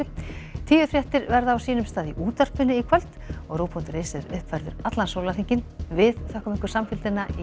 tíufréttir verða á sínum stað í útvarpi í kvöld og rúv punktur is er uppfærður allan sólarhringinn við þökkum ykkur samfylgdina í